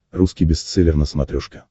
русский бестселлер на смотрешке